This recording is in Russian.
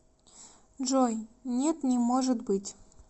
джой нет не может быть